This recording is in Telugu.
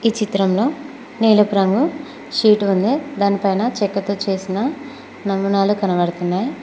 ఈ చిత్రంలో నీలపు రంగు షీట్ ఉంది దానిపైన చెక్కతో చేసిన నమూనాలు కనబడుతున్నాయి.